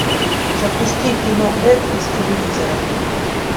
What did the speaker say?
запусти кино эд из телевизора